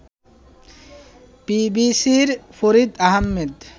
বিবিসির ফরিদ আহমেদ